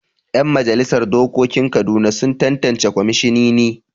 Yan majalisar dokokin Kaduna sun tattance kwamishinini.